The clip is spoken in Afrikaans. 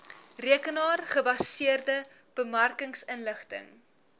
rekenaar gebaseerde bemarkingsinligting